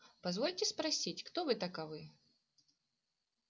позвольте спросить кто вы таковы